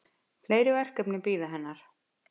Fleiri verkefni bíða hennar.